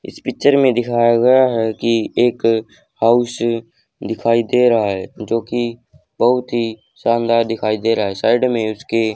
इस पिक्चर दिखाया गया है कि एक हाउस दिखाई दे रहा है जोकि बहुत ही दिखाई दे रहा हैं। साइड में उसके --